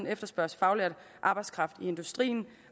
efterspørges faglært arbejdskraft i industrien